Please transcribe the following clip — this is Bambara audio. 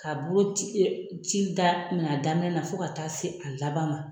K'a boloci ci daminɛ a daminɛ na fo ka taa se a laban ma.